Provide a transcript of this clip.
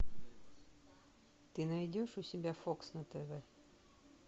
ты найдешь у себя фокс на тв